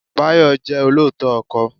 Báyọ̀ jẹ́ olóòótọ́ ọkọ.